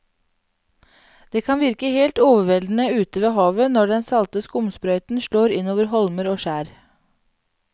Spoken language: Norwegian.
Det kan virke helt overveldende ute ved havet når den salte skumsprøyten slår innover holmer og skjær.